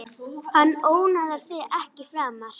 Hann ónáðar þig ekki framar.